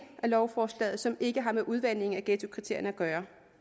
af lovforslaget som ikke har med udvandingen af ghettokriterierne at gøre